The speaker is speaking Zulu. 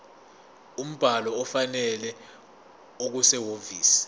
umbhalo ofanele okusehhovisi